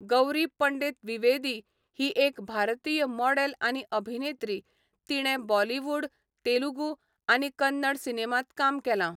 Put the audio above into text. गौरी पंडित द्विवेदी ही एक भारतीय मॉडेल आनी अभिनेत्री, तिणें बॉलिवूड, तेलुगू, आनी कन्नड सिनेमांत काम केलां.